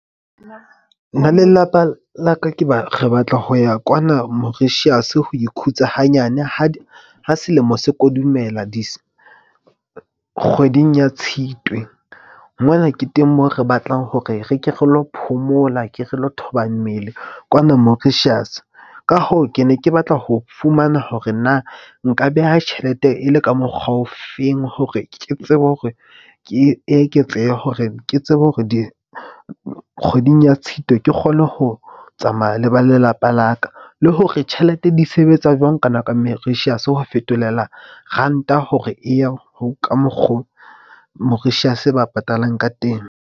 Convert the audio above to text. Nna le lelapa la ka ke ba re batla ho ya kwana Mauritius. Ho ikhutsa hanyane ha selemo se kodumela kgweding ya Tshitwe. Mona ke teng moo re batlang hore re ke re lo phomola ke re lo thoba mmele kwana Mauritius. Ka hoo, ke ne ke batla ho fumana hore na nka beha tjhelete e le ka mokgwa ofeng hore ke tsebe hore ke eketsehe hore ke tsebe hore di kgweding ya Tshitwe. Ke kgone ho tsamaya le ba lelapa la ka le hore tjhelete di sebetsa jwang. Ka nako ya Mauritius ho fetolela ranta hore e ye ka mokgo Mauritius ba patalang ka teng.